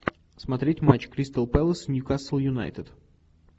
смотреть матч кристал пэлас ньюкасл юнайтед